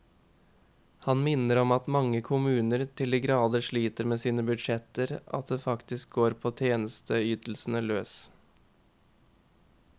Han minner om at mange kommuner til de grader sliter med sine budsjetter at det faktisk går på tjenesteytelsene løs.